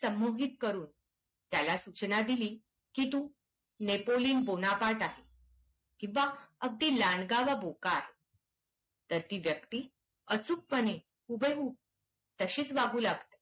संमोहित करून त्याला सूचना दिली की तू नेपोलियन बोनापार्ट आहेस, किंवा अगदी लांडगा वा बोका आहेस तर ती व्यक्ती अचूकपणे हुबेहूब तशीच वागू लागते.